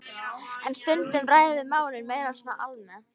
En stundum ræðum við málin meira svona almennt.